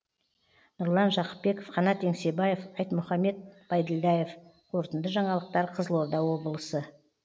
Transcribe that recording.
нұрлан жақыпбеков қанат еңсебаев айтмұхамед байділдаев қорытынды жаңалықтар қызылорда облысы